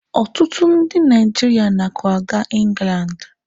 Ọtụtụ ndị Naijiria na akwaga Ingland.